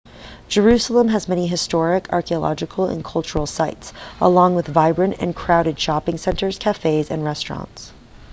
jerusalem has many historic archeological and cultural sites along with vibrant and crowded shopping centers cafés and restaurants